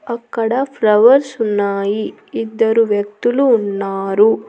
అక్కడ ఫ్లవర్స్ ఉన్నాయి ఇద్దరు వ్యక్తులు ఉన్నారు.